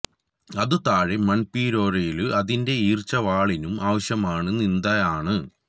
അതു താഴെ മണ്ണ് പിലൊര്യ്ലു അതിന്റെ ഈർച്ചവാളിന്നും ആവശ്യമാണ് നിന്ദ ആണ്